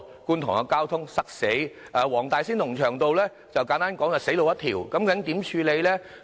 觀塘的交通嚴重擠塞，黃大仙龍翔道簡單來說就是死路一條。